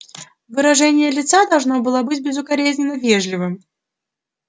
выражение лица должно было быть безукоризненно вежливым